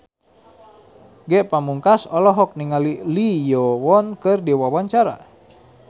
Ge Pamungkas olohok ningali Lee Yo Won keur diwawancara